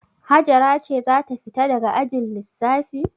Hajara ce za ta fita daga ajin lissafi.